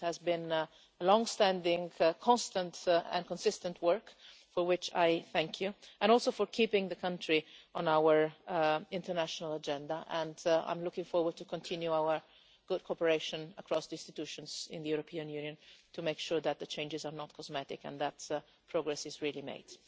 I know that it has been long-standing, constant and consistent work, for which I thank you, and also for keeping the country on our international agenda. I am looking forward to continuing our good cooperation across the institutions in the European Union to make sure that the changes are not cosmetic and that progress is really made.